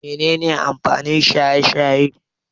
Mene ne amfanin shaye-shaye?